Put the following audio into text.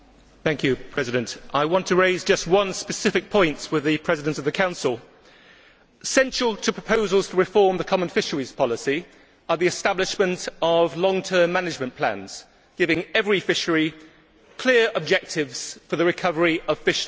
Mr President, I would like to raise just one specific point with the President of the Council. Essential to proposals to reform the common fisheries policy is the establishment of long term management plans, giving every fishery clear objectives for the recovery of fish stocks.